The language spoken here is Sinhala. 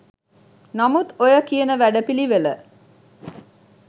නමුත් ඔය කියන වැඩපිළිවෙළ